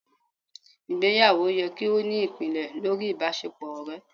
ìgbéyàwó yẹ ki o ni ipinlẹ̀ lorí ìbáṣepọ ọrẹ